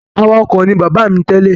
Awakọ̀ ní bàbá mi tẹ́lẹ̀.